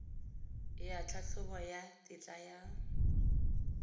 ya tlhatlhobo ya tetla ya